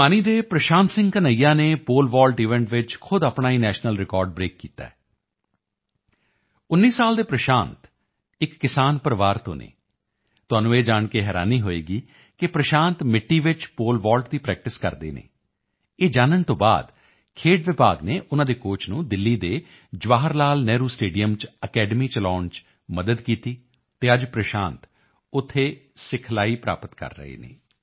ਭਿਵਾਨੀ ਦੇ ਪ੍ਰਸ਼ਾਂਤ ਸਿੰਘ ਕਨ੍ਹਈਆ ਨੇ pole vault event ਵਿੱਚ ਖੁਦ ਆਪਣਾ ਹੀ ਨੈਸ਼ਨਲ ਰਿਕਾਰਡ ਬ੍ਰੇਕ ਕੀਤਾ ਹੈ 19 ਸਾਲ ਦੇ ਪ੍ਰਸ਼ਾਂਤ ਇੱਕ ਕਿਸਾਨ ਪਰਿਵਾਰ ਤੋਂ ਹਨ ਤੁਹਾਨੂੰ ਇਹ ਜਾਣ ਕੇ ਹੈਰਾਨੀ ਹੋਵੇਗੀ ਕਿ ਪ੍ਰਸ਼ਾਂਤ ਮਿੱਟੀ ਵਿੱਚ ਪੋਲੇ ਵੌਲਟ ਦੀ ਪ੍ਰੈਕਟਿਸ ਕਰਦੇ ਹਨ ਇਹ ਜਾਣਨ ਤੋਂ ਬਾਅਦ ਖੇਡ ਵਿਭਾਗ ਨੇ ਉਨ੍ਹਾਂ ਦੇ ਕੋਚ ਨੂੰ ਦਿੱਲੀ ਦੇ ਜਵਾਹਰਲਾਲ ਨਹਿਰੂ ਸਟੇਡੀਅਮ ਚ ਅਕੈਡਮੀ ਚਲਾਉਣ ਚ ਮਦਦ ਕੀਤੀ ਅਤੇ ਅੱਜ ਪ੍ਰਸ਼ਾਂਤ ਉੱਥੇ ਸਿਖਲਾਈ ਪ੍ਰਾਪਤ ਕਰ ਰਹੇ ਹਨ